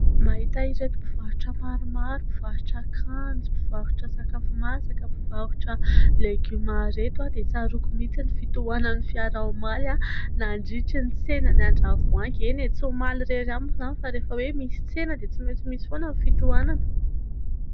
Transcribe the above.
Mahita ireto mpivarotra maromaro mpivarotra akanjo mpivarotra sakafo masaka ,mpivarotra legioma ireto aho dia tsaroako mihintsy ny fitohanan'ny fiara omaly nandritrin 'ny tsenan ' andravoahangy ; eny e! tsy omaly irery ihany moa izany fa rehefa hoe misy tsena dia tsimaintsy misy foana ny fitohanana.